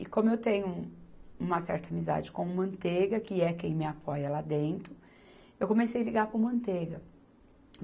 E como eu tenho uma certa amizade com o Manteiga, que é quem me apoia lá dentro, eu comecei a ligar para o Manteiga.